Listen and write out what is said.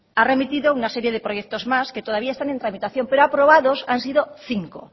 ha remitido una serie de proyectos más que todavía están en tramitación pero aprobados han sido cinco